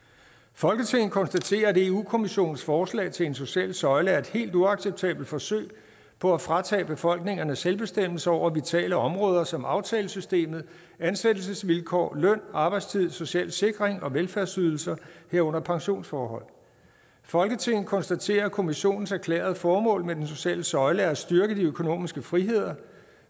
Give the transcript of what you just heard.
folketinget konstaterer at eu kommissionens forslag til en social søjle er et helt uacceptabelt forsøg på at fratage befolkningerne selvbestemmelse over vitale områder som aftalesystemet ansættelsesvilkår løn arbejdstid social sikring og velfærdsydelser herunder pensionsforhold folketinget konstaterer at kommissionens erklærede formål med den sociale søjle er at styrke de økonomiske friheder